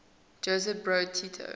josip broz tito